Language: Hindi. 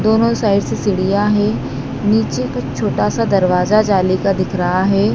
दोनों साइड से सीढ़ियाँ हैं नीचे कुछ छोटासा दरवाजा जाली का दिख रहा हैं।